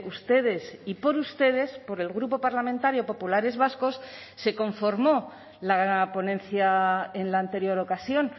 ustedes y por ustedes por el grupo parlamentario populares vascos se conformó la ponencia en la anterior ocasión